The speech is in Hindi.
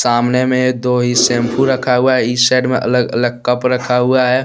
तामने में दो ही शैंपू रखा हुआ है इस साइड में अलग अलग कप रखा हुआ है।